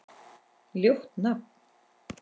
Ljótt nafn.